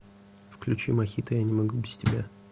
включи мохито я не могу без тебя